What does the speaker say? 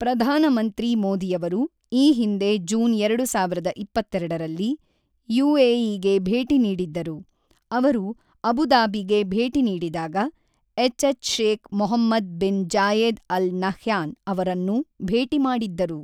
ಪ್ರಧಾನಮಂತ್ರಿ ಮೋದಿಯವರು ಈ ಹಿಂದೆ ಜೂನ್ ಎರಡು ಸಾವಿರದ ಇಪ್ಪತ್ತೆರಡು ರಲ್ಲಿ ಯುಎಇಗೆ ಭೇಟಿ ನೀಡಿದ್ದರು, ಅವರು ಅಬುಧಾಬಿಗೆ ಭೇಟಿ ನೀಡಿದಾಗ H H Sheikh Mohamed bin Zayed Al Nahyan ಅವರನ್ನು ಭೇಟಿ ಮಾಡಿದ್ದರು.